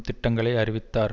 திட்டங்களை அறிவித்தார்